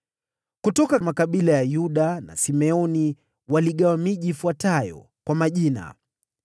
Kutoka makabila ya Yuda na Simeoni waligawa miji ifuatayo kwa majina